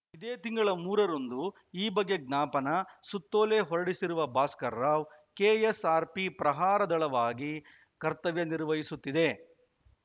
ಇದೇ ತಿಂಗಳ ಮೂರು ರಂದು ಈ ಬಗ್ಗೆ ಜ್ಞಾಪನಾ ಸುತ್ತೋಲೆ ಹೊರಡಿಸಿರುವ ಭಾಸ್ಕರರಾವ್‌ ಕೆಎಸ್‌ಆರ್‌ಪಿ ಪ್ರಹಾರ ದಳವಾಗಿ ಕರ್ತವ್ಯ ನಿರ್ವಹಿಸುತ್ತಿದೆ